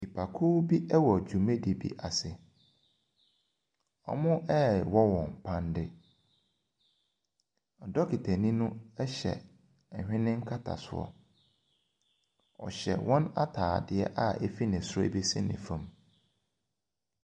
Nnipakuo bi ɛwɔ dwumadie bi ase, ɔrewɔ wɔn paneɛ. Dokutanii no ɛhyɛ ɛhwɛne katasoɔ. Ɔhywɛ wɔn ataadeɛ efiri ne soro besi ne fam.